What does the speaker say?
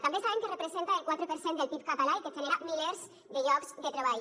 també sabem que representa el quatre per cent del pib català i que genera milers de llocs de treball